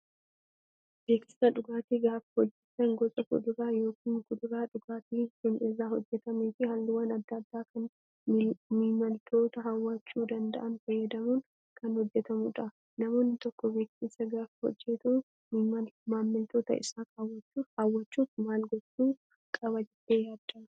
Beeksisa dhugaatii gaafa hojjatan gosa fuduraa yookaan kuduraa dhugaatiin sun irraa hojjatamee fi halluuwwan adda addaa kan maamiltoota hawwachuu danda'an fayyadamuun kan hojjatamudha. Namni tokko beeksisa gaafa hojjatu maamiltoota isaa hwwachuuf maal gochuu qaba jettee yaaddaa?